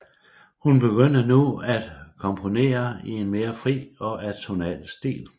Hun begyndte nu at komponere i en mere fri og atonal stil